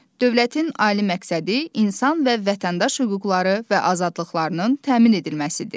Dövlətin ali məqsədi insan və vətəndaş hüquqları və azadlıqlarının təmin edilməsidir.